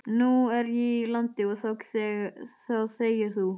Nú er ég í landi og þá þegir þú.